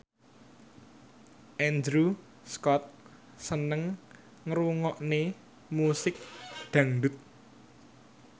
Andrew Scott seneng ngrungokne musik dangdut